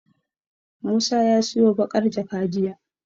Musa ya siyo baƙar jaka jiya.